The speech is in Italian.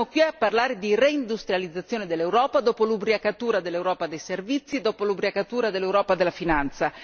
Oggi siamo qui a parlare di reindustrializzazione dell'Europa dopo l'ubriacatura dell'Europa dei servizi, dopo l'ubriacatura dell'Europa della finanza.